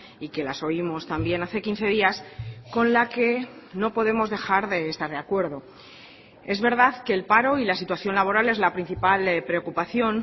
y que las oímos también hace quince días con la que no podemos dejar de estar de acuerdo es verdad que el paro y la situación laboral es la principal preocupación